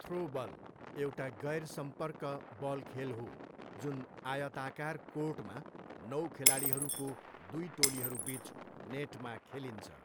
Throwball एउटा गैरसम्पर्क बल खेल हो जुन आयताकार कोर्टमा नौ खेलाडीहरूको दुई टोलीहरूबिच नेटमा खेलिन्छ।